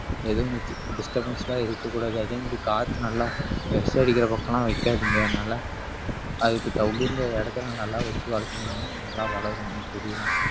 எதுவும் di~ disturbance எல்லாம் இருக்கக் கூடாது அதே மாதிரி காத்து நல்லா அடிக்கிற பக்கம் எல்லாம் வைக்காதீங்க அதனால அதுக்கு தகுந்த இடத்துல நல்லா வச்சு வளர்த்துனீங்கன்னா நல்லா வளரும் அந்த செடிலாம்